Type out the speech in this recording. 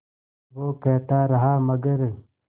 वो कहता रहा मगर